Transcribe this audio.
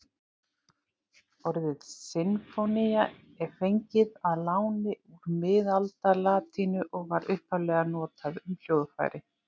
Orðið sinfónía er fengið að láni úr miðaldalatínu og var upphaflega notað um hljóðfæri.